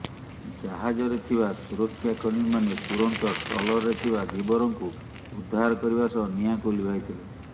ଜାହାଜରେ ଥିବା ସୁରକ୍ଷାକର୍ମୀମାନେ ତୁରନ୍ତ ଟ୍ରଲରରେ ଥିବା ଧିବରଙ୍କୁ ଉଦ୍ଧାର କରିବା ସହ ନିଆଁକୁ ଲିଭାଇଥିଲେ